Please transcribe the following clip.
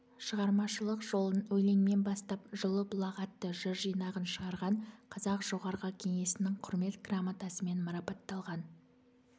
шығармашылық жолын өлеңмен бастап жылы бұлақ атты жыр жинағын шығарған қазақ жоғарғы кеңесінің құрмет грамотасымен марапатталған